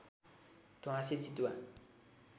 ध्वाँसे चितुवा